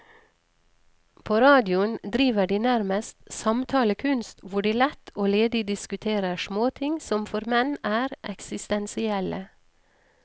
På radioen driver de nærmest samtalekunst, hvor de lett og ledig diskuterer småting som for menn er eksistensielle.